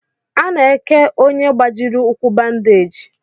Ana eke ọnye gbajiri ụkwụ bandage.